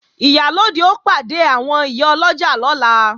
Ìyálóde ó pàdé àwọn ìyá ọlọ́jà lọ́la